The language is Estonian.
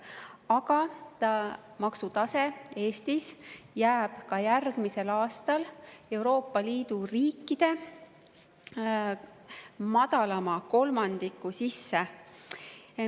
Aga maksutase jääb Eestis ka järgmisel aastal Euroopa Liidu riikide madalama kolmandiku sisse.